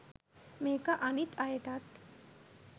මේක අනිත් අයටත්